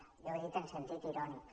jo ho he dit en sentit irònic